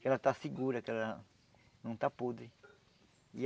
Que ela está segura, que ela não está podre. E